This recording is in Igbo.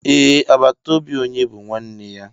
Ee, àgbàtà óbị onye bú nwanne ya